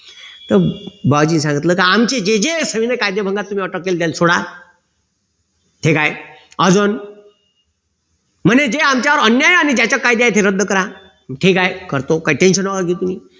तर बुआजींनी सांगितलं की आमचे जे जे संविनय कायदेभंगात तुम्ही अटक केली त्यांले सोडा ठीक आहे अजून म्हणे जे आमच्यावर अन्याय आणि ज्याचा कायदा आहे ते रद्द करा ठीक आहे करतो काही tension नका घेऊ तुम्ही